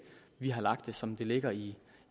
vi har lagt det som det ligger i